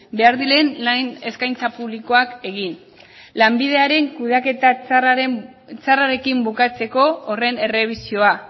behar diren lan eskaintza publikoak egin lanbideren kudeaketa txarrarekin bukatzeko horren errebisioa